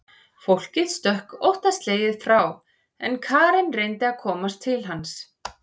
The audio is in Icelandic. Fólkið stökk óttaslegið frá en Karen reyndi að komast til hans.